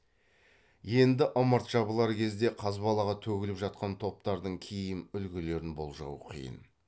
енді ымырт жабылар кезде қазбалаға төгіліп жатқан топтардың киім үлгілерін болжау қиын